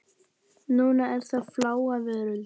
Núna er það Fláa veröld.